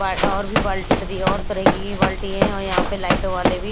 प् और भी बाल्टी इधरि और तरह की ही बाल्टी हैं और यहां पे लाइटों वाले भी--